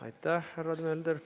Aitäh, härra Mölder!